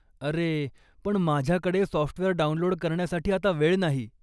अरे, पण माझ्याकडे सॉफ्टवेअर डाउनलोड करण्यासाठी आता वेळ नाही.